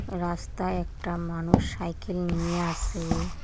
রাস্তায় একটা মানুষ সাইকেল নিয়ে আসে।